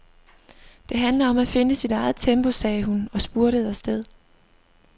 Det handler om at finde sit eget tempo, sagde hun og spurtede afsted.